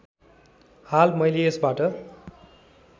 हाल मैले यसबाट